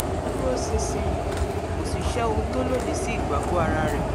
ó dúróṣinṣin kò sì ṣe ohun tó lòdì sí ìgbàgbọ́ ara rẹ̀